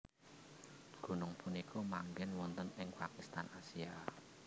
Gunung punika manggen wonten ing Pakistan Asia